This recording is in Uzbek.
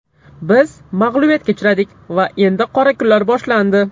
Biz mag‘lubiyatga uchradik va endi qora kunlar boshlandi.